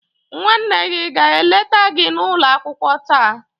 nwanne gi aga eleta gi n'ulo akwukwo taa?